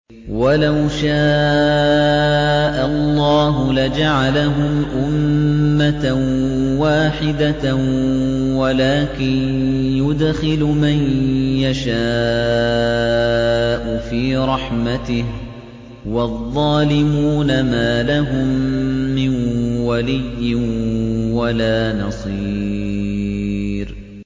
وَلَوْ شَاءَ اللَّهُ لَجَعَلَهُمْ أُمَّةً وَاحِدَةً وَلَٰكِن يُدْخِلُ مَن يَشَاءُ فِي رَحْمَتِهِ ۚ وَالظَّالِمُونَ مَا لَهُم مِّن وَلِيٍّ وَلَا نَصِيرٍ